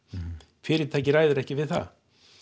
fyrirtækið ræður ekki við það